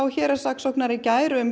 héraðssaksóknara í gær um